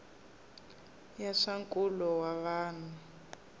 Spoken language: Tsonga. ya swa nkulo wa vanhu